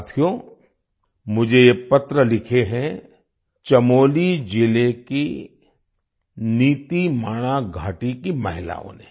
साथियो मुझे यह पत्र लिखे हैं चमोली जिले की नीतीमाणा घाटी की महिलाओं ने